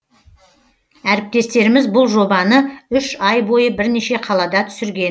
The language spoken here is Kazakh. әріптестеріміз бұл жобаны үш ай бойы бірнеше қалада түсірген